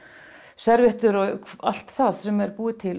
serviettur og allt það sem er búið til